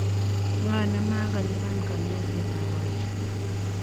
Ng'o ne ma ko liban kanyoisetab boisek?